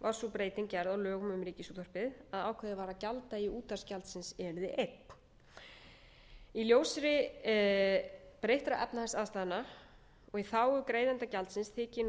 var sú breyting gerð á lögum um ríkisútvarpið að ákveðið var að gjalddagi útvarpsgjaldsins yrði einn í ljósi breyttra efnahagsástæðna og í þágu greiðenda gjaldsins þykir gert að endurskoða þessa tilhögun og hefur